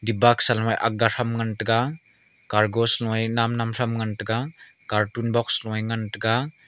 boxa saloe akga thram ngan taiga kargos lo a namnam thram ngan taiga carton box loe ngan taiga.